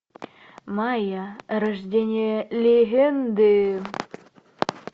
майя рождение легенды